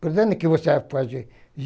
Portanto, o que você vai fazer?